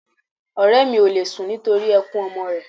Ọ̀rẹ́ mi òle sun nítorí ẹkun ọmọ rẹ̀